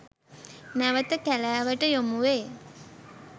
නැවත කැලෑවට යොමු වේ.